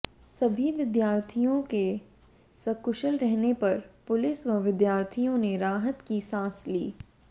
सभी विद्यार्थियों के सकुशल रहने पर पुलिस व विद्यार्थियों ने राहत की सांस ली